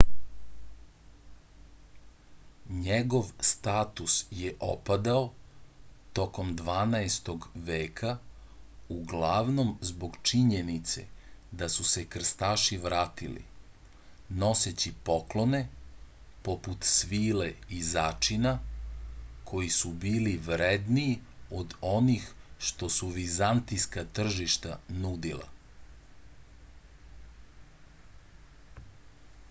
njegov status je opadao tokom dvanaestog veka uglavnom zbog činjenice da su se krstaši vratili noseći poklone poput svile i začina koji su bili vredniji od onih što su vizantijska tržišta nudila